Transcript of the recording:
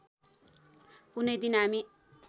कुनै दिन हामी